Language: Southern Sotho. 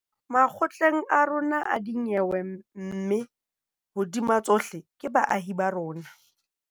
Makgotleng a rona a dinyewe mme, hodima tsohle, ke baahi ba rona.